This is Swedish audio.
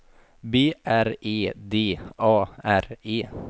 B R E D A R E